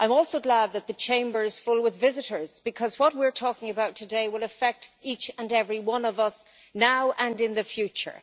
I am also glad that the Chamber is full with visitors, because what we are talking about today will affect each and every one of us, now and in the future.